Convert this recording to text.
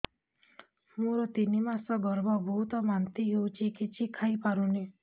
ମୋର ତିନି ମାସ ଗର୍ଭ ବହୁତ ବାନ୍ତି ହେଉଛି କିଛି ଖାଇ ପାରୁନି